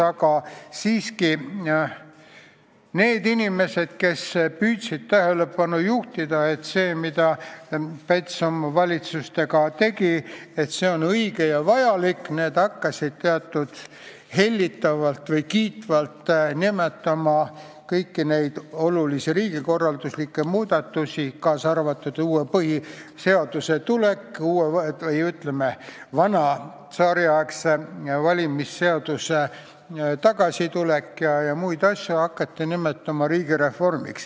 Aga siiski, need inimesed, kes püüdsid tähelepanu juhtida, et see, mida Päts oma valitsustega tegi, oli õige ja vajalik, hakkasid hellitavalt või kiitvalt nimetama riigireformiks kõiki olulisi riigikorralduslikke muudatusi, kaasa arvatud uue põhiseaduse tulekut, aga ka vana, tsaariaegse valimisseaduse põhimõtete tagasitoomist ja muid asju.